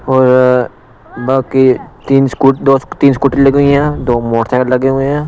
और बाकी तीन स्कूटी दो तीन स्कूटी लगी हुई हैं दो मोटरसाइकल लगे हुए हैं।